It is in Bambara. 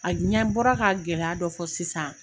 A ɲɛ bɔra ka gɛlɛya dɔ fɔ sisan